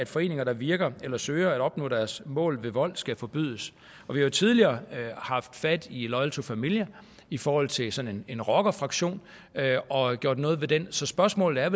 foreninger der virker eller søger at opnå deres mål ved vold skal forbydes vi har tidligere haft fat i loyal to familia i forhold til sådan en rockerfraktion og gjort noget ved den så spørgsmålet er